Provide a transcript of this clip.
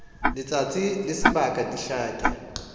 letsatsi le sebaka di hlake